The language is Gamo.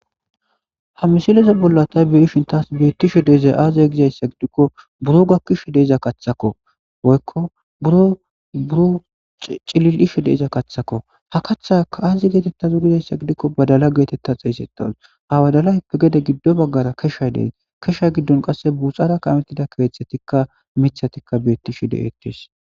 ha misileze bollanta beyshin taas beettishe deezay aaziya gizayssa gidikko buro gakkishe deiza kaththako woykko buro buro cilil7ishe deiza kathako ha kaththaka aazi geetettazu gizayssa gidikko badala geetetta xeesetawus hawadalayppe gede giddo baggara keshaydey kesha giddon qasse buuxara kamettida keeththetikka mithatikka beettishe de'ettes